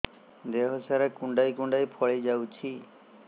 ଦେହ ସାରା କୁଣ୍ଡାଇ କୁଣ୍ଡାଇ ଫଳି ଯାଉଛି